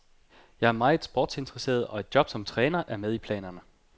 Jeg er meget sportsinteresseret, og et job som træner er med i planerne.